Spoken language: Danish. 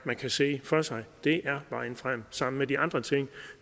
man kan se for sig det er vejen frem sammen med de andre ting